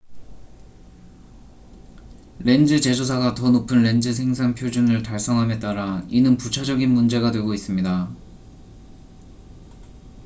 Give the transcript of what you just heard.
렌즈 제조사가 더 높은 렌즈 생산 표준을 달성함에 따라 이는 부차적인 문제가 되고 있습니다